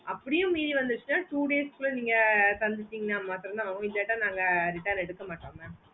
அப்புடியே மீறி வந்துச்சின்னா two days குள்ள நீங்க தந்துட்டீங்கன்னா மற்றும் immediate ஆஹ் இல்லனா நாங்க return எடுக்கமாட்டோம் mam